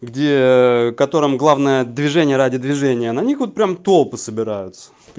где котором главное движение ради движения на них вот прям толпы собираются